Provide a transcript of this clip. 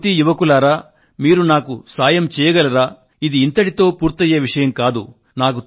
నా యువతీయువకులారా మీరు నాకు సాయం చేయగలరా ఇది ఇంతటితో పూర్తయ్యే విషయం కాదు